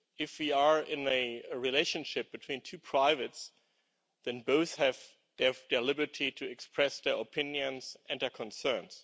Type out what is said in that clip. If we are in a relationship between two private persons, then both have the liberty to express their opinions and their concerns.